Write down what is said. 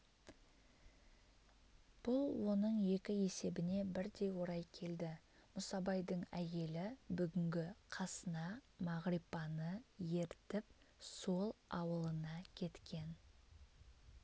бұл оның екі есебіне бірдей орай келді мұсабайдың әйелі бүгін қасына мағрипаны ертіп сол ауылына кеткен